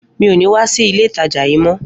Mi ò ní wá sí ilé ìtajà yí mo